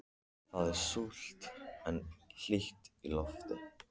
Það er súld en hlýtt í lofti.